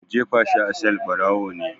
Ku jefa shi a sel!barawo ne.